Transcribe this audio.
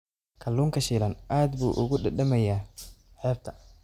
Kalluunka shiilan aad buu ugu dhadhamiyaa xeebta.